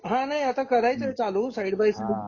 हा नाही आता करायचं आहे चालू साईड बाय साईड